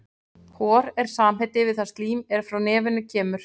Hor er samheiti yfir það slím er frá nefinu kemur.